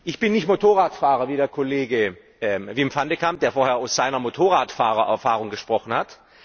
Ich bin nicht Motorradfahrer wie der Kollege Wim van de Camp, der vorher aus seiner Motorradfahrererfahrung gesprochen hat.